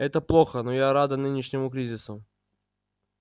это плохо но я рада нынешнему кризису